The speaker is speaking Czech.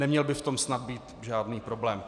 Neměl by v tom snad být žádný problém.